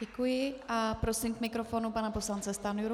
Děkuji a prosím k mikrofonu pana poslance Stanjuru.